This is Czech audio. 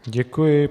Děkuji.